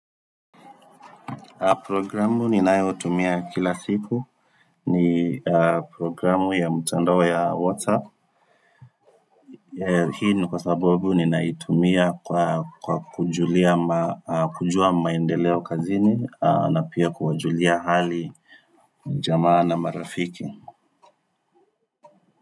Programu ninayotumia kila siku ni programu ya mtandao ya WhatsApp. Hii nikwasababu ninaitumia kujua maendeleo kazini na pia kuwajulia hali jamaa na marafiki.